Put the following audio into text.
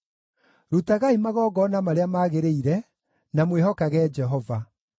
Rutagai magongona marĩa magĩrĩire, na mwĩhokage Jehova.